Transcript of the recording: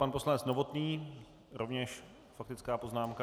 Pan poslanec Novotný, rovněž faktická poznámka.